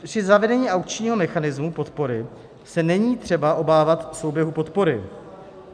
Při zavedení aukčního mechanismu podpory se není třeba obávat souběhu podpory.